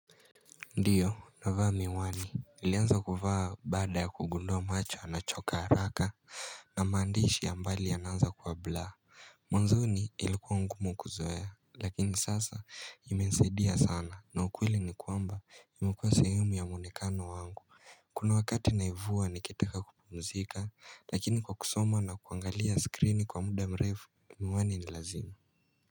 Ndiyo navaa miwani nilianza kuvaa baada ya kugundua macho yanachoka haraka na maandishi ya mbali yanaanza kuwa blur Mwanzoni ilikuwa ngumu kuzoea lakini sasa ime nisaidia sana na ukweli ni kwamba imekua sehemu ya mwonekano wangu Kuna wakati naivua nikitaka kupumzika lakini kwa kusoma na kuangalia screen kwa muda mrefu miwani ni lazima.